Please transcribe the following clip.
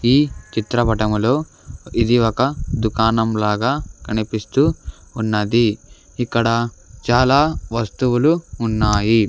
ఈ చిత్రపటంలో ఇది ఒక దుకానం లాగా కనిపిస్తూ ఉన్నది ఇక్కడ చాలా వస్తువులు ఉన్నాయి.